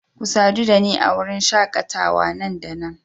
Ku sadu da ni a wurin shakatawa nan da nan